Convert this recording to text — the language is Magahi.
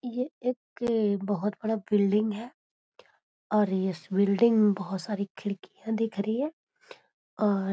ये एक बहुत बड़ा बिल्डिंग है और इस बिल्डिंग में बहुत सारी खिड़कियां दिख रही है और --